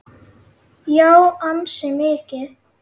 Já, ansi mikið.